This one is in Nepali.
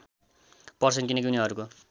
पर्छन् किनकि उनीहरूको